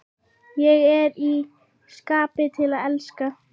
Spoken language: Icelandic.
Ég er í skapi til að elska!